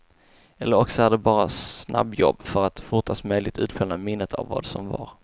Eller också är det bara snabbjobb för att fortast möjligt utplåna minnet av vad som var.